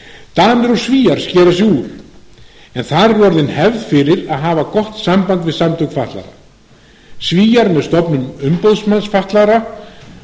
danir og svíar skera sig úr en þar er orðin hefð fyrir að hafa gott samband við samtök fatlaðra svíar eru með stofnun umboðsmanns fatlaðra